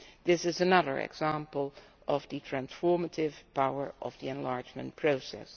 This is another example of the transformative power of the enlargement process.